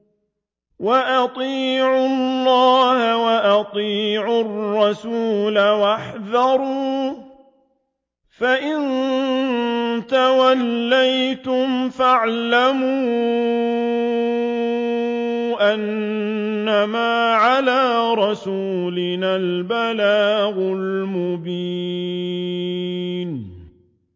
وَأَطِيعُوا اللَّهَ وَأَطِيعُوا الرَّسُولَ وَاحْذَرُوا ۚ فَإِن تَوَلَّيْتُمْ فَاعْلَمُوا أَنَّمَا عَلَىٰ رَسُولِنَا الْبَلَاغُ الْمُبِينُ